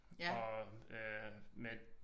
Og øh med